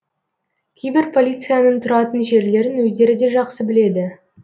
кейбір полицияның тұратын жерлерін өздері де жақсы біледі